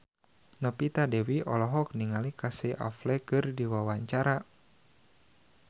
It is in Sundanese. Novita Dewi olohok ningali Casey Affleck keur diwawancara